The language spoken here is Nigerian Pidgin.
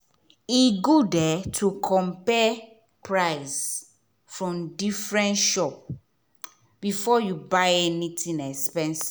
e good to compare price from different shop before you buy anything expensive.